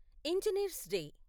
engineers day